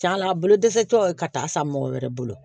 Cɛna a bolo dɛsɛ tɔ ye ka taa san mɔgɔ wɛrɛ bolo